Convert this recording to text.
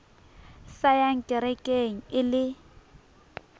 sa yang kerekeng e le